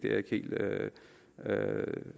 jeg ikke helt